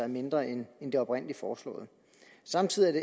mindre end det oprindeligt foreslåede samtidig